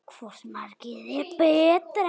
Hvort markið er betra?